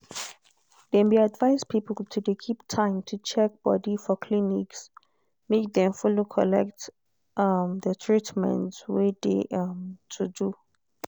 dem be advice people to de keep time to check-body for clinics make dem follow collect um de treatment wey de um to do.